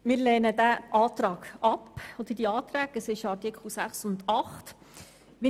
Wir lehnen diese Anträge ebenfalls ab.